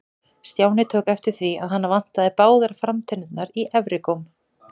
Stjáni tók eftir því að hana vantaði báðar framtennur í efri góm.